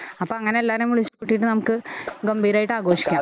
അപ്പോ അങ്ങനെ എല്ലാവരെയും വിളിച്ചു കൂട്ടിയിട്ട് നമുക്ക് ഗംഭീരമായിട്ട് ആഘോഷിക്കാം.